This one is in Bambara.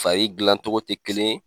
Fari gilan cogo tɛ kelen ye.